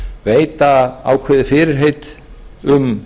veita ákveðið fyrirheit um